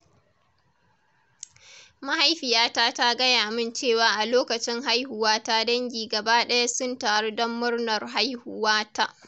Mahaifiyata ta gaya min cewa a lokacin haihuwata dangi gaba ɗaya sun taru don murnar haihuwata.